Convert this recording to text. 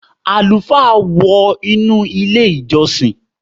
Àlùfáà wọ inú ilé- ìjọsìn.